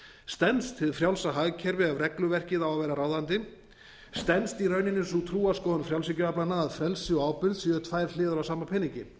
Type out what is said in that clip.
stenst hið frjálsa hagkerfi ef regluverkið á að vera ráðandi stenst í rauninni sú trúarskoðun frjálshyggjuaflanna að frelsi og ábyrgð séu tvær hliðar á sama peningi